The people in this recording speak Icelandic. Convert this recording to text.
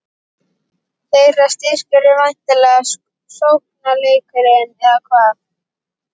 Þeirra styrkur er væntanlega sóknarleikurinn, eða hvað?